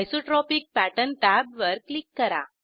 isotropic pattern टॅबवर click करा